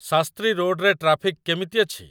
ଶାସ୍ତ୍ରୀ ରୋଡ଼ରେ ଟ୍ରାଫିକ୍ କେମିତି ଅଛି ?